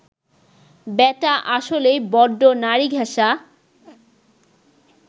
ব্যাটা আসলেই বড্ড নারীঘেঁষা